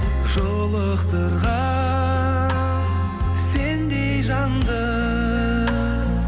жолықтырған сендей жанды